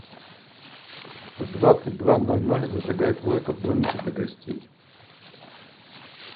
в двадцать два ноль ноль зажигай плойка в домике для гостей